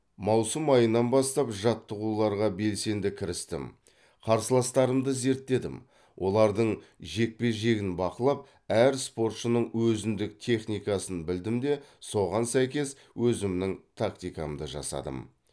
маусым айынан бастап жаттығуларға белсенді кірістім қарсыластарымды зерттедім олардың жекпе жегін бақылап әр спортшының өзіндік техникасын білдім де соған сәйкес өзімнің тактикамды жасадым